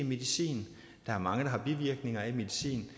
medicin der er mange der har bivirkninger af medicin